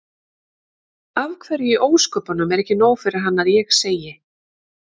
Af hverju í ósköpunum er ekki nóg fyrir hann að ég segi